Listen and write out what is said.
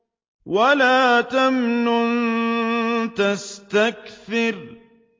وَلَا تَمْنُن تَسْتَكْثِرُ